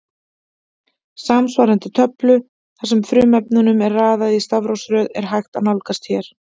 Samsvarandi töflu þar sem frumefnunum er raðað í stafrófsröð er hægt að nálgast hér.